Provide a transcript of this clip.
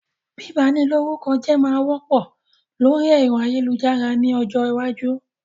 Bíba ni lórúkọ jẹ́ máa wọ́pọ̀ lórí ẹ̀rọ ayélujára ni ọjọ́ iwájú